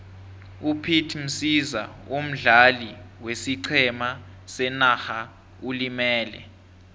upete msiza omdlali wesiqhema senarha ulimele